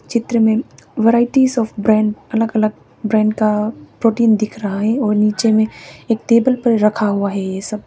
चित्र में varieties of brand अलग अलग ब्रांड का प्रोटीन दिख रहा है और नीचे में एक टेबल पर रखा हुआ है ये सब।